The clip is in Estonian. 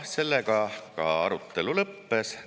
Sellega arutelu lõppes.